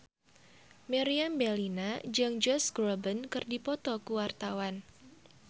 Meriam Bellina jeung Josh Groban keur dipoto ku wartawan